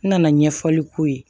N nana ɲɛfɔli k'o ye